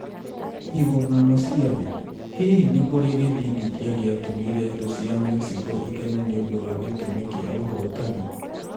Igomano cia Thĩ: Hihi nĩ kũrĩ gĩthingithia gĩatũmire thũ cia Mexico ikene nĩ ũndũ wa gĩtũmi kĩa ũhootani?